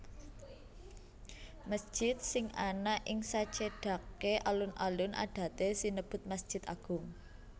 Mesjid sing ana ing sacedhaké alun alun adaté sinebut masjid agung